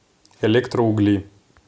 электроугли